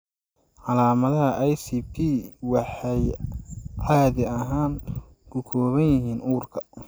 Calaamadaha ICP waxay caadi ahaan ku kooban yihiin uurka.